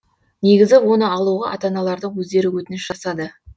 негізі оны алуға ата аналардың өздері өтініш жасады